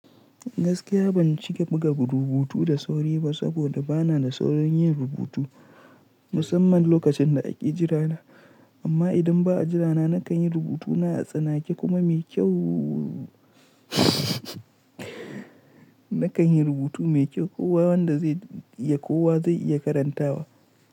Gaskiya ban cika buga rubutu da sauri ba saboda bana da saurin yin rubutu musamman lokacin da ake jira na. Amma idan ba a jira na, na kan yi rubutuna a tsanake kuma mai kyau na kan yi rubutu mai kyau kowa wanda zai iya kowa zai iya karantawa.